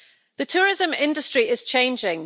The tourism industry is changing.